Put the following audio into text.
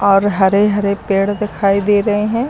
और हरे हरे पेड़ दिखाई दे रहे हैं।